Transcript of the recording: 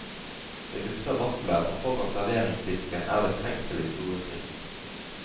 Det dufter vafler, og foran serveringsdisken er det trengsel i storefri.